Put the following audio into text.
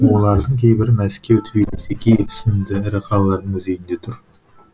олардың кейбірі мәскеу тбилиси киев сынды ірі қалалардың музейінде тұр